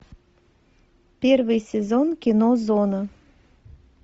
первый сезон кино зона